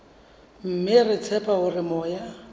mme re tshepa hore moya